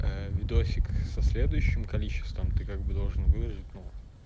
видосик со следующим количеством ты как бы должен выложить но